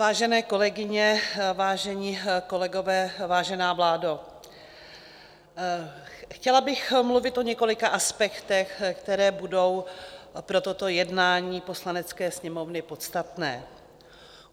Vážené kolegyně, vážení kolegové, vážená vládo, chtěla bych mluvit o několika aspektech, které budou pro toto jednání Poslanecké sněmovny podstatné.